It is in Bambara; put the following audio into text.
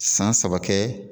San saba kɛ